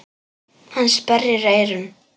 Hann sperrir eyrun.